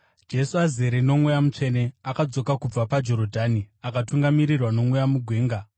Jesu, azere noMweya Mutsvene, akadzoka kubva paJorodhani akatungamirirwa noMweya mugwenga,